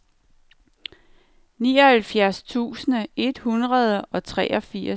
nioghalvfjerds tusind et hundrede og treogfirs